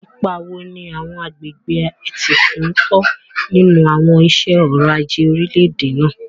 Ipa wo ni àwọn agbègbè etíkun ń kó nínú àwọn iṣẹ́ ọrọ̀ ajé orílẹ̀-èdè náà?